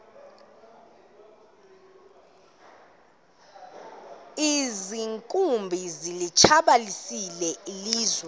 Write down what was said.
iinkumbi zilitshabalalisile ilizwe